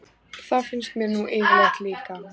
Það finnst mér nú yfirleitt líka.